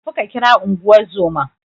Tafi ka kira Unguwar zoman.